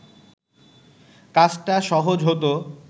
কাজটা সহজ হতো